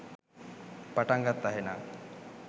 පටන් ගත්තා එහෙනම්.